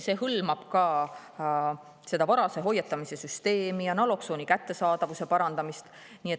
See hõlmab ka varase hoiatamise süsteemi ja naloksooni kättesaadavuse parandamist.